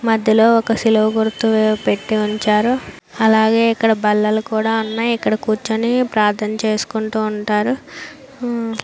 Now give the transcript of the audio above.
మధ్యలో ఒక సిలువ గుర్తు పెట్టివుంచారు అలాగే ఇక్కడ బల్లలు కూడా ఉన్నాయ్ ఇక్కడ కూర్చొని ప్రార్థన చేసుకుంటుంటారు హ.